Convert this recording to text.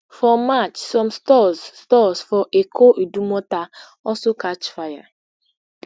for march some stores stores for eko idumota also catch fire